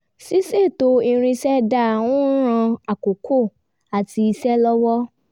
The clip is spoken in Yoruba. ṣíṣètò irinṣẹ́ dáa ń ran àkókò àti iṣẹ́ lọ́wọ́